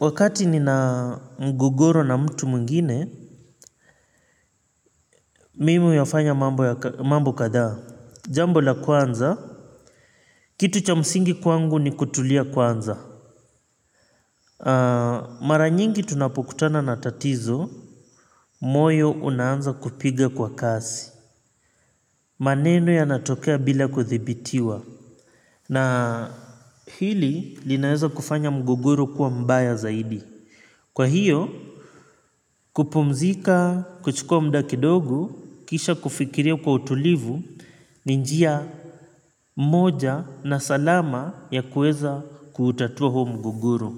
Wakati nina mgogoro na mtu muingine mimi uyafanya mambo katha. Jambo la kwanza kitu cha msingi kwangu ni kutulia kwanza. Mara nyingi tunapokutana na tatizo moyo unaanza kupiga kwa kasi. Maneno yanatokea bila kuthibitiwa. Na hili linaeza kufanya mgogoro kuwa mbaya zaidi. Kwa hiyo kupumzika kuchukua muda kidogo, kisha kufikiria kwa utulivu, ninjia moja na salama ya kueza kutatua huo mgogoro.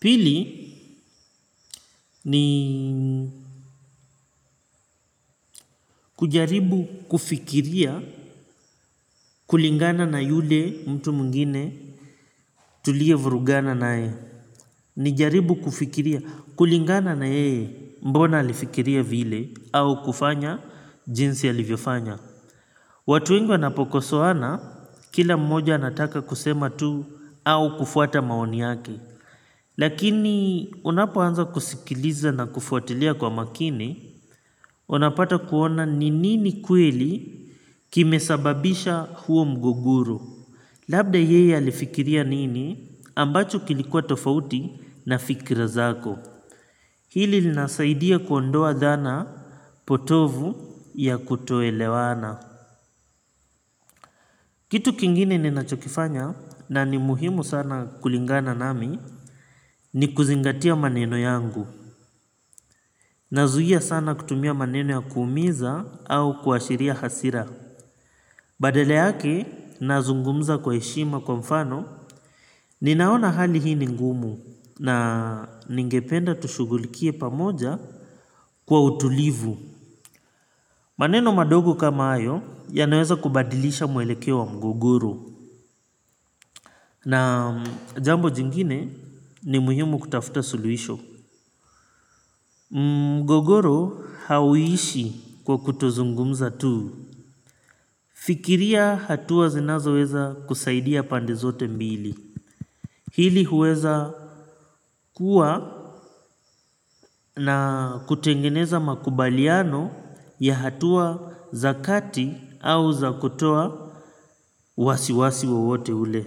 Pili, ni kujaribu kufikiria kulingana na yule mtu muingine tulievurugana nae. Nijaribu kufikiria kulingana na yeye mbona alifikiria vile au kufanya jinsi alivyofanya. Watu wengi wanapokosohana, kila mmoja anataka kusema tu au kufuata maoni yake. Lakini unapoanza kusikiliza na kufuatilia kwa makini, unapata kuona ninini kweli kimesababisha huo mgogoro. Labda yeye alifikiria nini ambacho kilikuwa tofauti na fikira zako. Hili linasaidia kuondoa dhana potovu ya kutoelewana. Kitu kingine ninachokifanya na ni muhimu sana kulingana nami ni kuzingatia maneno yangu nazuhia sana kutumia maneno ya kuumiza au kuashiria hasira. Badala yake nazungumza kwa eshima kwa mfano ninaona hali hii ningumu na ningependa tushugulikie pamoja kwa utulivu. Maneno madogo kama ayo yanaweza kubadilisha mwelekewo wa mgogoro na jambo jingine ni muhimu kutafuta suluisho. Mgogoro hauishi kwa kutozungumza tu. Fikiria hatuwa zinazo weza kusaidia pande zote mbili. Hili huweza kuwa na kutengeneza makubaliano ya hatuwa za kati au za kutoa wasiwasi wowote ule.